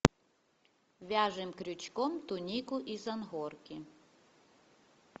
вяжем крючком тунику из ангорки